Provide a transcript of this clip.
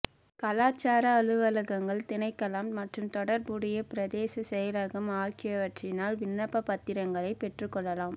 கலாசார அலுவல்கள் திணைக்களம் மற்றும் தொடர்புடைய பிரதேச செயலகம் ஆகியவற்றினால் விண்ணப்பப் பத்திரங்களை பெற்றுக்கொள்ளலாம்